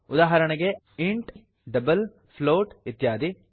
ಉದಾಹರಣೆಗೆ160 int double float ಇತ್ಯಾದಿ